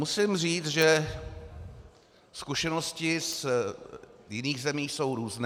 Musím říct, že zkušenosti z jiných zemí jsou různé.